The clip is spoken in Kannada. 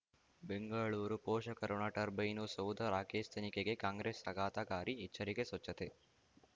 ಬೆಂಗಳೂರು ಪೋಷಕರಋಣ ಟರ್ಬೈನು ಸೌಧ ರಾಕೇಶ್ ತನಿಖೆಗೆ ಕಾಂಗ್ರೆಸ್ ಆಘಾತಕಾರಿ ಎಚ್ಚರಿಕೆ ಸ್ವಚ್ಛತೆ